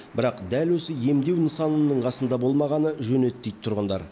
бірақ дәл осы емдеу нысанының қасында болмағаны жөн еді дейді тұрғындар